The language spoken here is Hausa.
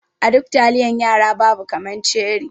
A duk taliyan yara babu kaman ceri.